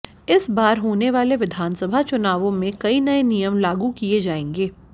इस बार होने वाले विधानसभा चुनावों में कई नए नियम लागू किए जाएंगे